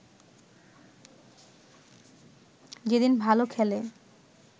যেদিন ভালো খেলে